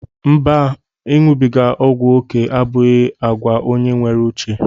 Mba, iṅụbiga ọgwụ oké abụghị àgwà onye nwere uche.